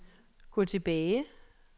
gå tilbage